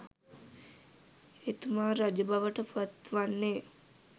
එතුමා රජබවට පත් වන්නේ